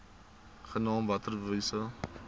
genaamd water wise